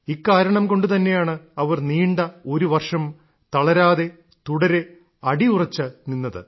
ഇക്കാരണം കൊണ്ടു തന്നെയാണ് അവർ നീണ്ട ഒരു വർഷം തളരാതെ തുടരെ അടിയുറച്ചു നിന്നത്